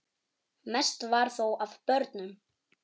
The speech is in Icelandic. Mest var þó af börnum.